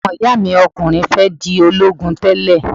Ọmọ-ìyá mi okùnrin fẹ́ di ológun tẹ́lè